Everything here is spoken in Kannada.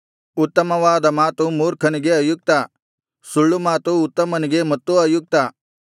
ಉತ್ತಮವಾದ ಮಾತು ಮೂರ್ಖನಿಗೆ ಅಯುಕ್ತ ಸುಳ್ಳುಮಾತು ಉತ್ತಮನಿಗೆ ಮತ್ತೂ ಅಯುಕ್ತ